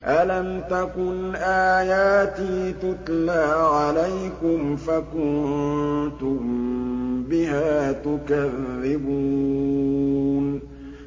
أَلَمْ تَكُنْ آيَاتِي تُتْلَىٰ عَلَيْكُمْ فَكُنتُم بِهَا تُكَذِّبُونَ